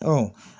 Ɔ